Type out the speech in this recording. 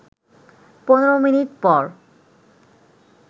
১৫ minute পর